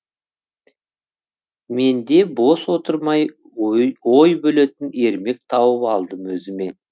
мен де бос отырмай ой бөлетін ермек тауып алдым өзіме